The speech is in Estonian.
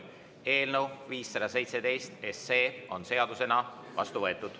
Eelnõu 517 on seadusena vastu võetud.